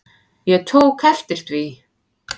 Ég tók eftir því.